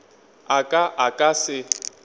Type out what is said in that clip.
a ka a ka se